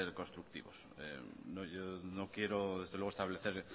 constructivos yo no quiero desde luego establecer